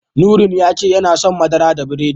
Nurain ya ce yana son madara da biredi.